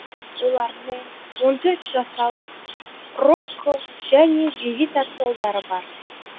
олардың он төрт жасар рокко және дэвид атты ұлдары бар